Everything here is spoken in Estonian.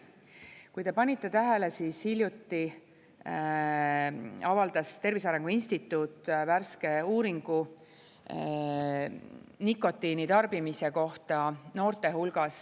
Kui te panite tähele, siis hiljuti avaldas Tervise Arengu Instituut värske uuringu nikotiinitarbimise kohta noorte hulgas.